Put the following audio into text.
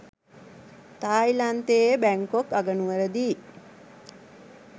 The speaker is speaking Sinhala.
තායිලන්තයේ බැංකොක් අගනුවරදී